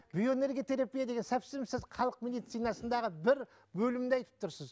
биоэнерготерапия деген совсем сіз халық медицинасындағы бір бөлімді айтып тұрсыз